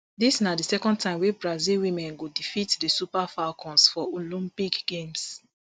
dis na di second time wey brazil women go defeat di super falcons for olympic games